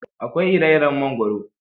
Akwai ire-iren mangoro.